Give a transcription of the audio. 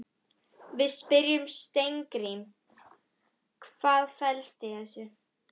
Við spyrjum Steingrím, hvað fellst í þessu?